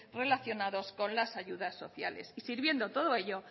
relacionados con las ayudas sociales y sirviendo todo ello